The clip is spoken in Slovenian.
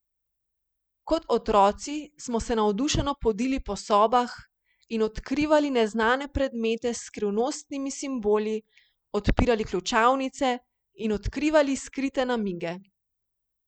Kot otroci smo se navdušeno podili po sobah in odkrivali neznane predmete s skrivnostnimi simboli, odpirali ključavnice in odkrivali skrite namige.